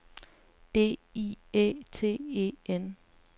D I Æ T E N